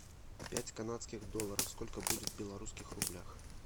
пять канадских долларов сколько будет в белорусских рублях